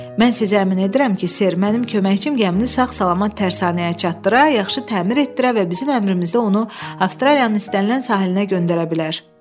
Mən sizi əmin edirəm ki, Ser, mənim köməkçim gəmini sağ-salamat tərsanəyə çattıra, yaxşı təmir etdirə və bizim əmrimizdə onu Avstraliyanın istənilən sahilinə göndərə bilər.